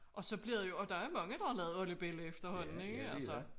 Og så bliver det jo og der mange der har lavet oldebella efterhånden ikke altså